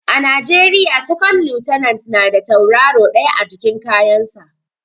A najeriya second lieutenant na da tauraro ɗaya a jikin kayan sa